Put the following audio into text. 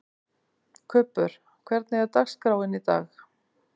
Kubbur, hvernig er dagskráin í dag?